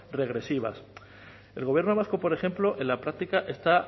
regresivas el gobierno vasco por ejemplo en la práctica está